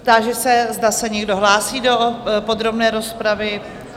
Táži se, zda se někdo hlásí do podrobné rozpravy?